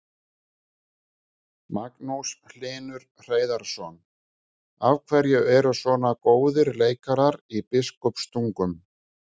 Magnús Hlynur Hreiðarsson: Af hverju eru svona góðir leikarar í Biskupstungum?